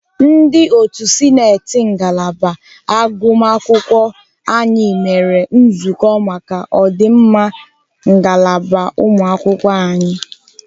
Ndị otu sịnetị ngalaba agụmakwụkwọ anyị mere nzukọ maka ọdịmma ngalaba ụmụakwụkwọ anyị.